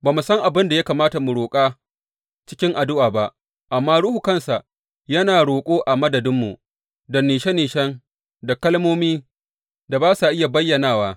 Ba mu san abin da ya kamata mu roƙa cikin addu’a ba, amma Ruhu kansa yana roƙo a madadinmu da nishe nishen da kalmomi ba sa iya bayyanawa.